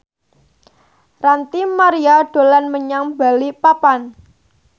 Ranty Maria dolan menyang Balikpapan